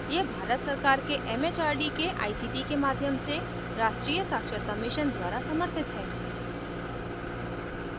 यह भारत सरकार के it it आर डी के आई सी टी के माध्यम से राष्ट्र्रीय साक्षरता mission द्वारा समर्थित है